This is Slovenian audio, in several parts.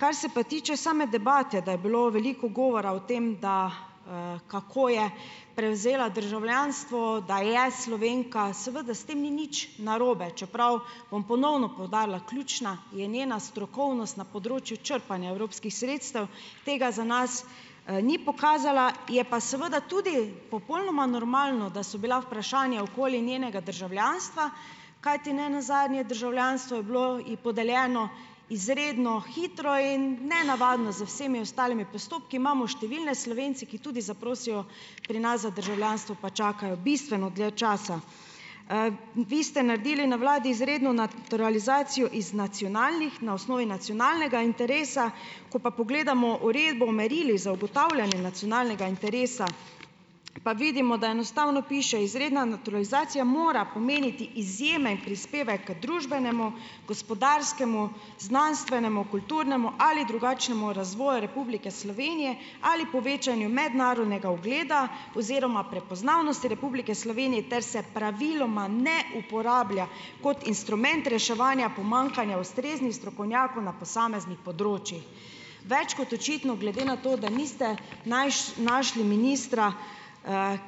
Kar se pa tiče same debate, da je bilo veliko govora o tem, da, kako je prevzela državljanstvo, da je Slovenka, seveda s tem ni nič narobe, čeprav bom ponovno poudarila, ključna je njena strokovnost na področju črpanja evropskih sredstev, tega za nas, ni pokazala, je pa seveda tudi popolnoma normalno, da so bila vprašanja okoli njenega državljanstva, kajti ne nazadnje državljanstvo je bilo ji podeljeno izredno hitro in nenavadno z vsemi ostalimi postopki. Imamo številne Slovence, ki tudi zaprosijo pri nas za državljanstvo, pa čakajo bistveno dlje časa. vi ste naredili na vladi izredno naturalizacijo iz nacionalnih, na osnovi nacionalnega interesa, ko pa pogledamo uredbo o merilih za ugotavljanje nacionalnega interesa, pa vidimo, da enostavno piše: "Izredna naturalizacija mora pomeniti izjemen prispevek k družbenemu, gospodarskemu, znanstvenemu, kulturnemu ali drugačnemu razvoju Republike Slovenije ali povečanju mednarodnega ugleda oziroma prepoznavnosti Republike Slovenije ter se praviloma ne uporablja kot instrument reševanja pomanjkanja ustreznih strokovnjakov na posameznih področjih." Več kot očitno, glede na to, da niste našli ministra,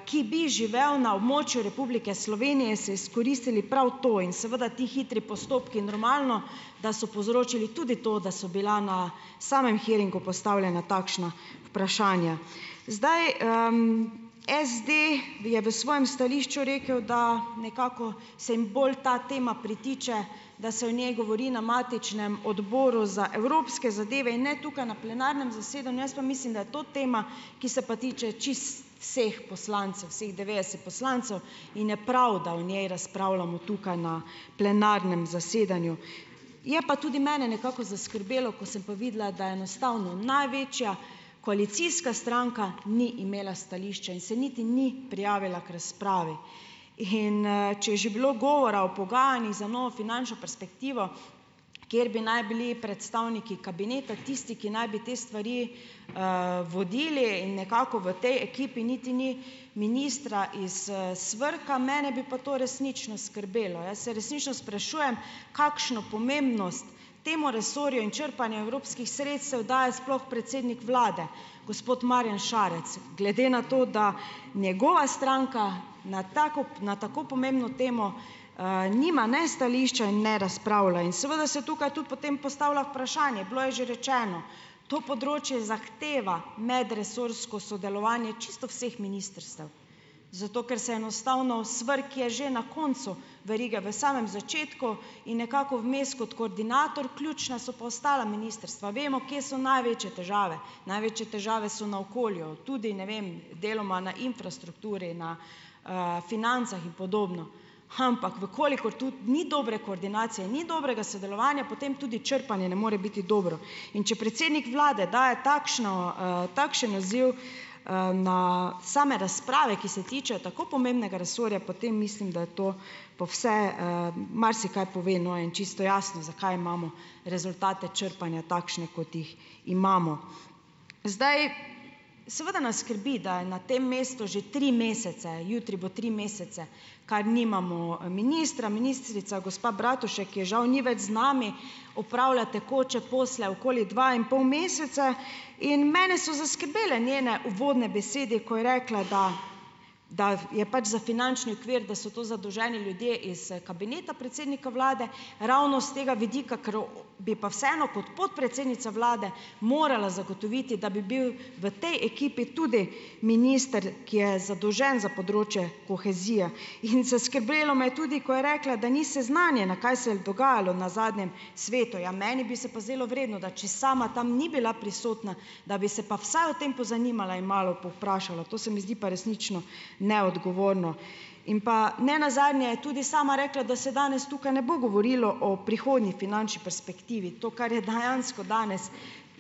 ki bi živel na območju Republike Slovenije, ste izkoristili prav to in seveda, ti hitri postopki, normalno, da so povzročili tudi to, da so bila na samem hearingu postavljena takšna vprašanja. Zdaj, SD je v svojem stališču rekel, da nekako, se jim bolj ta tema pritiče, da se o njej govori na matičnem odboru za evropske zadeve in ne tukaj na plenarnem zasedanju, jaz pa mislim, da je to tema, ki se pa tiče čisto vseh poslancev, vseh devetdeset poslancev, in je prav, da o njej razpravljamo tukaj, na plenarnem zasedanju. Je pa tudi mene nekako zaskrbelo, ko sem pa videla, da enostavno največja koalicijska stranka ni imela stališča in se niti ni prijavila k razpravi, in, če je že bilo govora o pogajanjih za novo finančno perspektivo, kjer bi naj bili predstavniki kabineta tisti, ki naj bi te stvari, vodili in nekako v tej ekipi niti ni ministra iz, SVRK-a, mene bi pa to resnično skrbelo. Jaz se resnično sprašujem, kakšno pomembnost temu resorju in črpanju evropskih sredstev daje sploh predsednik vlade, gospod Marjan Šarec, glede na to, da njegova stranka na tako na tako pomembno temo, nima ne stališča in ne razpravlja in seveda se tukaj tudi potem postavlja vprašanje, bilo je že rečeno, to področje zahteva medresorsko sodelovanje čisto vseh ministrstev, zato ker se enostavno, SVRK je že na koncu verige, v samem začetku in nekako vmes, kot koordinator, ključna so pa ostala ministrstva, vemo, kje so največje težave - največje težave so na okolju, tudi, ne vem, deloma na infrastrukturi, na, financah in podobno, ampak, v kolikor tudi ni dobre koordinacije, ni dobrega sodelovanja, potem tudi črpanje ne more biti dobro, in če predsednik vlade daje takšna, takšen naziv, ne same razprave, ki se tičejo tako pomembnega resorja, potem mislim, da je to, pa vse, marsikaj pove, in čisto jasno, zakaj imamo rezultate črpanja takšne, kot jih imamo. Zdaj, seveda nas skrbi, da je na tem mestu že tri mesece - jutri bo tri mesece, kar nimamo, ministra - ministrica gospa Bratušek - ki je žal ni več z nami - opravlja tekoče posle okoli dva in pol mesece, in mene so zaskrbele njene uvodne besede, ko je rekla, da da je pač za finančni okvir, da so to zadolženi ljudje iz, kabineta predsednika vlade, ravno s tega vidika, ker bi pa vseeno kot podpredsednica vlade morala zagotoviti, da bi bil v tej ekipi tudi minister, ki je zadolžen za področje kohezije, in zaskrbelo me je tudi, ko je rekla, da ni seznanjena, kaj se je dogajalo na zadnjem svetu. Ja, meni bi se pa zdelo vredno, da če sama tam ni bila prisotna, da bi se pa vsaj o tem pozanimala in malo povprašala. To se mi zdi pa resnično neodgovorno. In pa, nenazadnje je tudi sama rekla, da se danes tukaj ne bo govorilo o prihodnji finančni perspektivi, to, kar je dejansko danes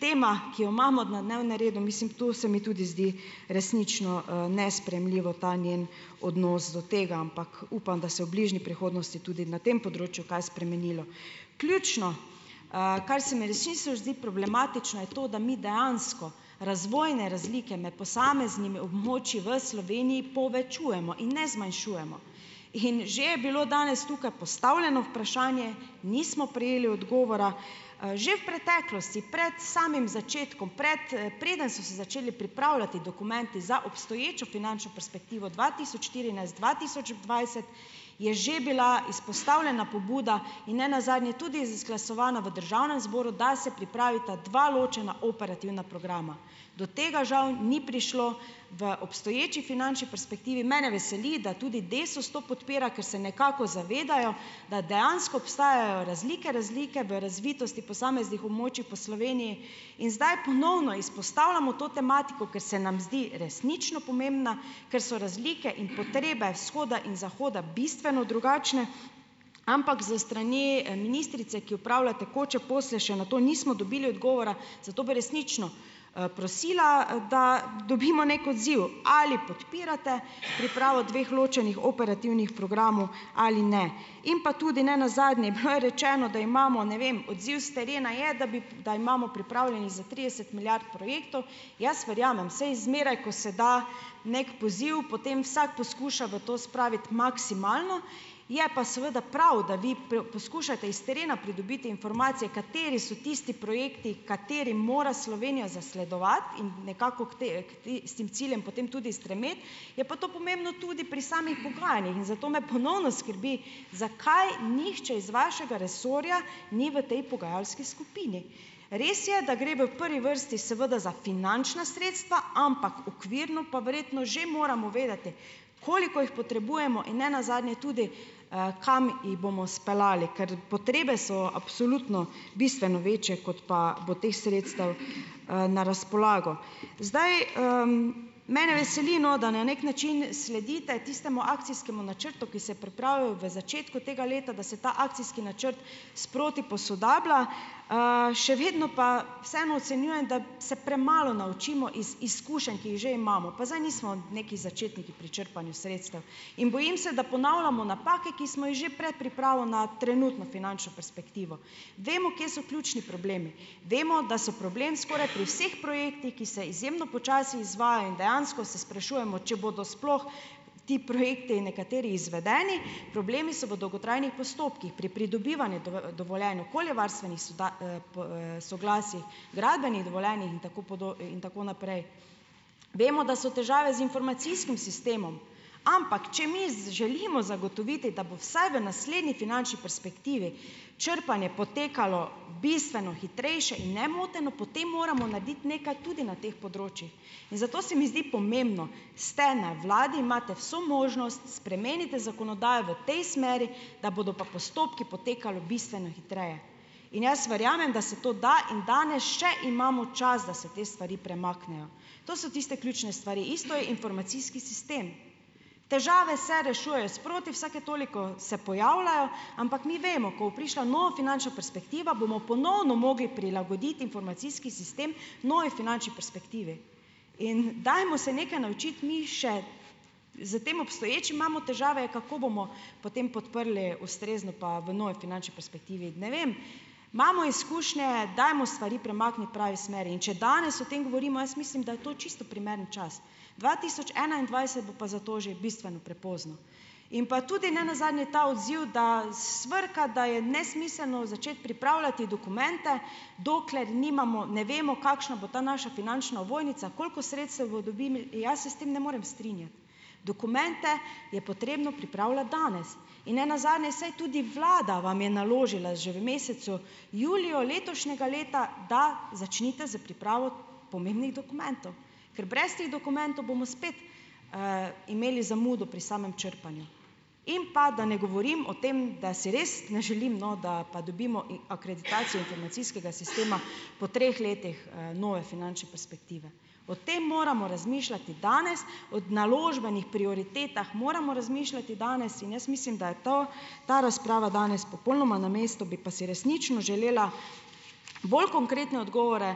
tema, ki jo imamo na dnevnem redu, mislim, to se mi tudi zdi resnično, nesprejemljivo, ta njen odnos do tega, ampak, upam, da se v bližnji prihodnosti tudi na tem področju kaj spremenilo. Ključno, kar se mi resnično zdi problematično, je to, da mi dejansko razvojne razlike med posameznimi območji v Sloveniji povečujemo in ne zmanjšujemo, in že je bilo danes tukaj postavljeno vprašanje, nismo prejeli odgovora, že v preteklosti, pred samim začetkom, preden so se začeli pripravljati dokumenti za obstoječo finančno perspektivo dva tisoč štirinajst-dva tisoč dvajset, je že bila izpostavljena pobuda in nenazadnje tudi izglasovana v državnem zboru, da se pripravita dva ločena operativna programa. Do tega žal ni prišlo v obstoječi finančni perspektivi. Mene veseli, da tudi Desus to podpira, ker se nekako zavedajo, da dejansko obstajajo razlike, razlike v razvitosti posameznih območij po Sloveniji, in zdaj ponovno izpostavljamo to tematiko, ker se nam zdi resnično pomembna, ker so razlike in potrebe vzhoda in zahoda bistveno drugačne, ampak s strani, ministrice, ki opravlja tekoče posle, še na to nismo dobili odgovora, zato bi resnično, prosila, da dobimo neki odziv, ali podpirate pripravo dveh ločenih operativnih programov ali ne, in pa tudi, nenazadnje, bilo je rečeno, da imamo, ne vem, odziv s terena je, da bi da imamo pripravljenih za trideset milijard projektov. Jaz verjamem, saj zmeraj, ko se da neki poziv, potem vsak poskuša v to spraviti maksimalno, je pa seveda prav, da vi poskušate iz terena pridobiti informacije, kateri so tisti projekti, katerim mora Slovenija zasledovati, in nekako v k tistim ciljem potem tudi stremeti. Je pa to pomembno tudi pri samih pogajanjih in zato me ponovno skrbi, zakaj nihče iz vašega resorja ni v tej pogajalski skupini. Res je, da gre v prvi vrsti seveda za finančna sredstva, ampak okvirno pa verjetno že moramo vedeti, koliko jih potrebujemo in ne nazadnje tudi, kam jih bomo speljali. Ker potrebe so absolutno bistveno večje, kot pa bo teh sredstev, na razpolago. Zdaj, mene veseli, no, da na neki način sledite tistemu akcijskemu načrtu, ki se je pripravil v začetku tega leta, da se ta akcijski načrt sproti posodablja. še vedno pa vseeno ocenjujem, da se premalo naučimo iz izkušenj, ki jih že imamo. Pa zdaj nismo neki začetniki pri črpanju sredstev. In bojim se, da ponavljamo napake, ki smo jih že pred pripravo na trenutno finančno perspektivo. Vemo, kje so ključni problemi, vemo, da so problem skoraj pri vseh projektih, ki se izjemno počasi izvajajo, in dejansko se sprašujemo, če bodo sploh ti projekti nekateri izvedeni. Problemi so v dolgotrajnih postopkih, pri pridobivanju dovoljenj, okoljevarstvenih soglasjih, gradbenih dovoljenjih in tako in tako naprej. Vemo, da so težave z informacijskim sistemom. Ampak če mi želimo zagotoviti, da bo vsaj v naslednji finančni perspektivi črpanje potekalo bistveno hitrejše in nemoteno, potem moramo narediti nekaj tudi na teh področjih. In zato se mi zdi pomembno - ste na vladi, imate vso možnost, spremenite zakonodajo v tej smeri, da bodo pa postopki potekali bistveno hitreje. In jaz verjamem, da se to da, in danes še imamo čas, da se te stvari premaknejo. To so tiste ključne stvari. Isto je informacijski sistem. Težave se rešujejo sproti, vsake toliko se pojavljajo. Ampak mi vemo - ko bo prišla nova finančna perspektiva, bomo ponovno mogli prilagoditi informacijski sistem novi finančni perspektivi. In dajmo se nekaj naučiti mi. Še s tem obstoječim imamo težave, kako bomo potem podprli ustrezno, pa v novi finančni perspektivi? Ne vem, imamo izkušnje, dajmo stvari premakniti v pravi smeri. In če danes o tem govorimo, jaz mislim, da je to čisto primeren čas. Dva tisoč enaindvajset bo pa za to že bistveno prepozno. In pa tudi ne nazadnje ta odziv, da SVRK-a, da je nesmiselno začeti pripravljati dokumente, dokler nimamo, ne vemo, kakšna bo ta naša finančna ovojnica, koliko sredstev bo Jaz se s tem ne morem strinjati. Dokumente je potrebno pripravljati danes. In ne nazadnje, saj tudi vlada vam je naložila že v mesecu juliju letošnjega leta, da začnite s pripravo pomembnih dokumentov. Ker brez teh dokumentov bomo spet, imeli zamudo pri samem črpanju. In pa da ne govorim o tem, da si res ne želim, no, da pa dobimo akreditacijo informacijskega sistema po treh letih, nove finančne perspektive. O tem moramo razmišljati danes, o naložbenih prioritetah moramo razmišljati danes in jaz mislim, da je to, ta razprava danes popolnoma na mestu. Bi pa si resnično želela bolj konkretne odgovore,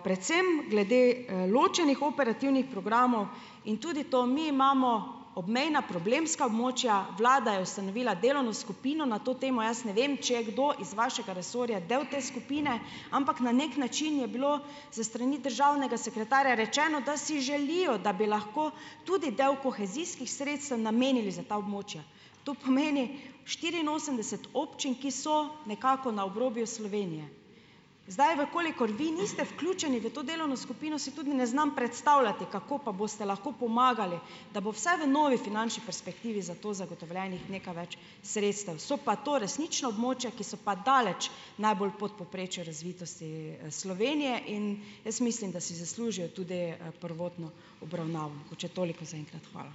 predvsem glede, ločenih operativnih programov. In tudi to - mi imamo obmejna problemska območja. Vlada je ustanovila delovno skupino na to temo, jaz ne vem, če je kdo iz vašega resorja del te skupine, ampak na neki način je bilo s strani državnega sekretarja rečeno, da si želijo, da bi lahko tudi del kohezijskih sredstev namenili za ta območja. To pomeni štiriinosemdeset občin, ki so nekako na obrobju Slovenije. Zdaj, v kolikor vi niste vključeni v to delovno skupino, si tudi ne znam predstavljati, kako pa boste lahko pomagali, da bo vsaj v novi finančni perspektivi za to zagotovljenih nekaj več sredstev. So pa to resnično območja, ki so pa daleč najbolj pod povprečjem razvitosti, Slovenije in jaz mislim, da si zaslužijo tudi, prvotno obravnavo. Mogoče toliko za enkrat. Hvala.